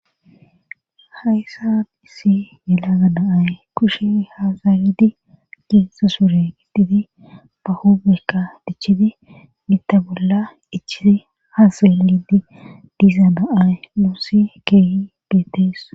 haysan issi yelaga daay kushe haazaridi giinsa sure ittidi bahobekka dichidi gitta bolla ichisi haaselidi diiza da7ay muussi keehi beetees